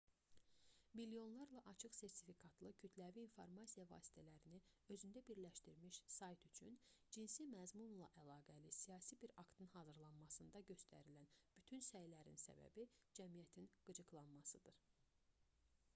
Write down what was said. milyonlarla açıq-sertifikatlı kütləvi informasiya vasitələrini özündə birləşdirmiş sayt üçün cinsi məzmunla əlaqəli siyasi bir aktın hazırlanmasında göstərilən bütün bu səylərin səbəbi cəmiyyətin qıcıqlanmasıdır